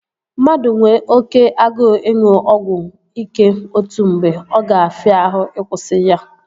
Mmadụ nwe oké agụụ ịṅụ ọgwụ ike otu mgbe, ọ ga-afịa ahụ ị kwụsị ya